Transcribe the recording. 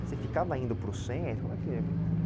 Você ficava indo para o centro? Como é que